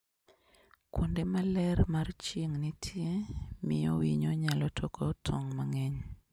Kuonde ma ler mar chieng' nitie, miyo winy nyalo toko tong' mang'eny.